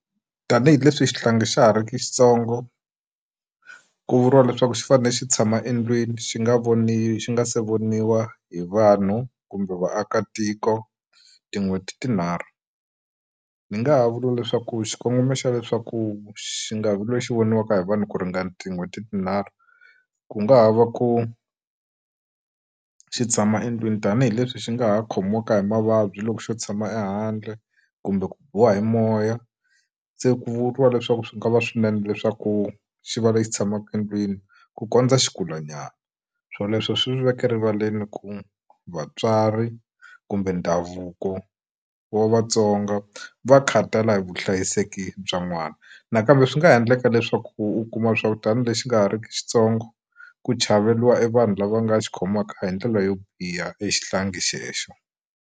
Tanihi leswi xihlangi xa ha ri ki xitsongo ku vuriwa leswaku xi fanele xi tshama endlwini xi nga voni xi nga se voniwa hi vanhu kumbe vaakatiko tin'hweti tinharhu ndzi nga ha vula leswaku xikongomelo xa leswaku xi nga vi loyi xi voniwaka hi vanhu ku ringana tin'hweti tinharhu ku nga ha va ku xi tshama endlwini tanihileswi xi nga ha khomiwaka hi mavabyi loko xo tshama ehandle kumbe ku biwa hi moya se ku vuriwa leswaku swi nga va swinene leswaku xi va lexi tshamaka endlwini ku kondza xi kulanyana swoleswo swi veke rivaleni ku vatswari kumbe ndhavuko wa Vatsonga va khathala hi vuhlayiseki bya n'wana nakambe swi nga endleka leswaku u kuma swa ku tani lexi nga ha ri ki xitsongo ku chaveriwa e vanhu lava nga xi khomaka hi ndlela yo biha exihlangi xexo.